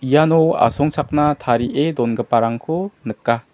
iano asongchakna tarie dongiparangko nika.